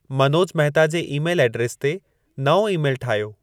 मनोज महता जे email address ते नओं ई-मेलु ठाहियो